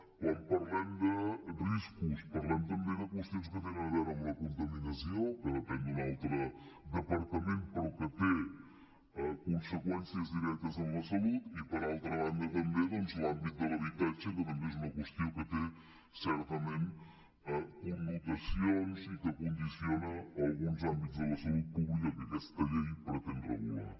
quan parlem de riscos parlem també de qüestions que tenen a veure amb la contaminació que depèn d’un altre departament però que té conseqüències directes en la salut i per altra banda també doncs l’àmbit de l’habitatge que també és una qüestió que té certament connotacions i que condiciona alguns àmbits de la salut pública que aquesta llei pretén regular